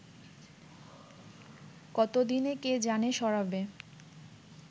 কতদিনে কে জানে সরাবে